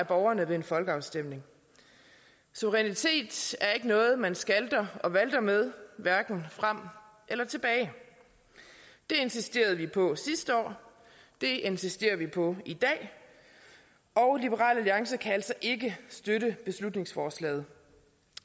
borgerne ved en folkeafstemning suverænitet er ikke noget man skalter og valter med hverken frem eller tilbage det insisterede vi på sidste år det insisterer vi på i dag og liberal alliance kan altså ikke støtte beslutningsforslaget